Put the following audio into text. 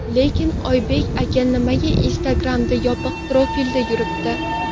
Lekin Oybek aka nimaga Instagram’da yopiq profilda yuribdi?